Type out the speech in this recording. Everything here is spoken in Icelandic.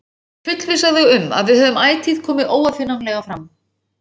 Ég fullvissa þig um að við höfum ætíð komið óaðfinnanlega fram.